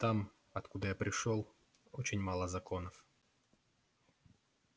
там откуда я пришёл очень мало законов